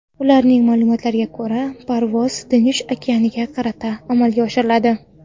Ularning ma’lumotlariga ko‘ra, parvoz Tinch okeaniga qarata amalga oshiriladi.